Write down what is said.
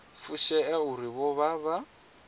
fushea uri vho vha vha